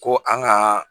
Ko an ka